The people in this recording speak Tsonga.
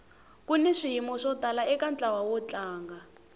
kuni swiyimo swo tala eka ntlawa wo tlanga